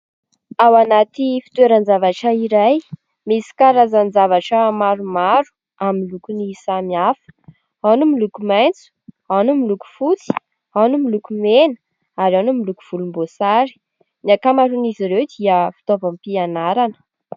Ao anaty fitoeran-javatra iray, misy karazan-javatra maromaro amin'ny lokony samihafa : ao no miloko maitso, ao no miloko fotsy, ao no miloko mena ary ao no miloko volomboasary. Ny ankamaroan'izy ireo dia fitaovam-pianarana.